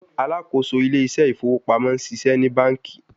Alakoso Ile ise ifowo pamo ṣiṣẹ ni banki